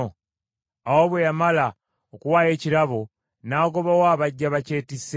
Awo bwe yamala okuwaayo ekirabo, n’agobawo abajja bakyetisse.